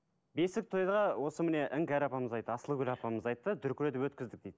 бесік тойға осы міне іңкәр апамыз айтты асылгүл апамыз айтты дүркіретіп өткіздік дейді